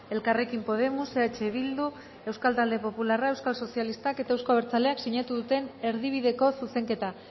elkarrekin podemos eh bildu euskal talde popularra euskal sozialistak eta euzko abertzaleak sinatu duten erdibideko zuzenketa